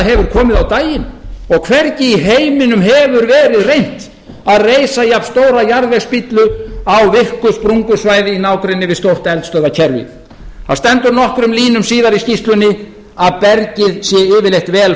hefur komið á daginn og hvergi í heiminum hefur verið reynt að reisa jafnstóra jarðvegsstíflu á virku sprungusvæði í nágrenni við stór eldstöðvakerfi það stendur nokkrum línum síðar í skýrslunni að bergið sé yfirleitt vel